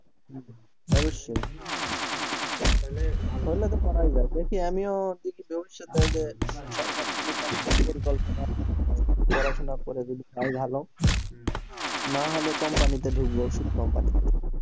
অবশ্যই তাইলে হইলে তো করাই যায় দেখি আমিও পড়াশোনা করে যদি পায় ভালো হম না হলে company তে ঢুকবো ওষুধ company তে